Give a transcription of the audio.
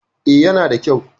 E, yana da kyau.